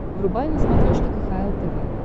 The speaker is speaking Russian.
врубай на смотрешке кхл тв